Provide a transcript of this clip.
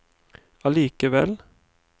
allikevel